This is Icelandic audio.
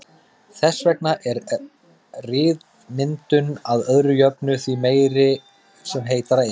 Þess vegna er ryðmyndun að öðru jöfnu því meiri sem heitara er.